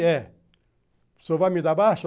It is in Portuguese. É. O pessoal vai me dar baixa?